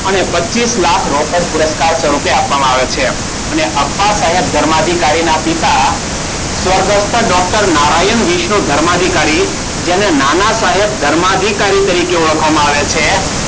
અને પચ્ચીસ લાખના રોકડ પુરસ્કાર સ્વરૂપે આપવામાં આવે છે. અને અપ્પા સાહેબ ધર્મ અધિકારીના પિતા સ્વર્ગસ્થ ડૉક્ટર નારાયણ વિષ્ણુ ધર્માધિકારી જેને નાના સાહેબ ધર્માધિકારી તરીકે ઓળખવામાં આવે છે.